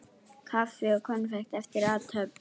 Kaffi og konfekt eftir athöfn.